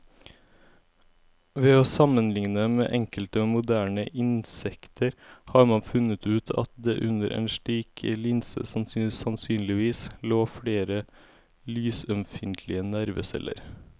Ved å sammenligne med enkelte moderne insekter har man funnet ut at det under en slik linse sannsynligvis lå flere lysømfintlige nerveceller.